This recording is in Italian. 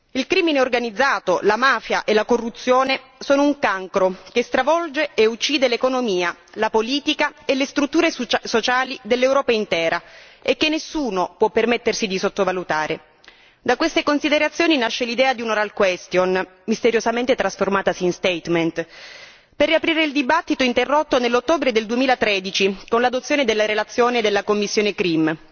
Il crimine organizzato, la mafia e la corruzione sono un cancro che stravolge e uccide l'economia, la politica e le strutture sociali dell'Europa intera e che nessuno più permettersi di sottovalutare da queste considerazioni nasce l'idea di un'interrogazione orale misteriosamente trasformatasi in dichiarazione per riaprire il dibattito interrotto nell'ottobre 2013 con l'adozione della relazione della commissione CRIM.